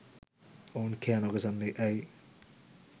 ඔවුන් කෑ නොගසන්නේ ඇයි?